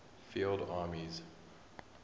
field armies